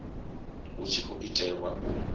hu tshi khou itelwa u